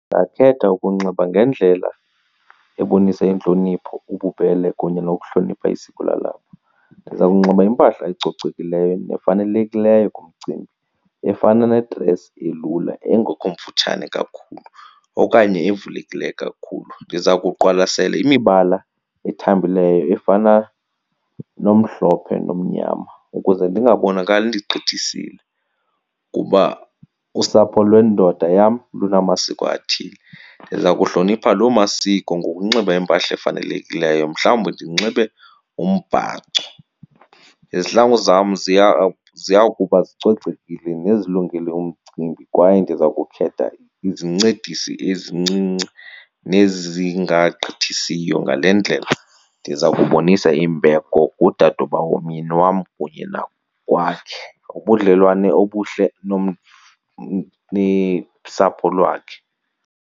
Ndingakhetha ukunxiba ngendlela ebonisa intlonipho, ububele kunye nokuhlonipha isiko lalapha. Ndizawunxiba impahla ecocekileyo nefanelekileyo kumcimbi efana ne-dress elula engekho mfutshane kakhulu okanye evulekileyo kakhulu. Ndiza kuqwalasela imibala ethambileyo efana nomhlophe nomnyama ukuze ndingabonakali ndigqithisile kuba usapho lwendoda yam lunamasiko athile. Ndiza kuhlonipha loo masiko ngokunxiba impahla efanelekileyo, mhlawumbi ndinxibe umbhaco. Izihlangu zam ziya ziya kuba zicocekile nezilungele umcimbi kwaye ndiza kukhetha izincedisi ezincinci nezingagqithisiyo. Ngale ndlela ndiza kubonisa imbeko kudadobawo womyeni wam kunye nakwakhe, ubudlelwane obuhle nesapho lwakhe.